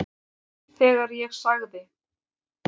Þegar ég sagði